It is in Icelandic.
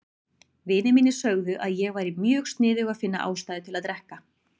Vinir mínir sögðu að ég væri mjög sniðug að finna ástæðu til að drekka.